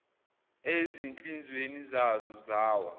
ezinhlizweni zazo zawa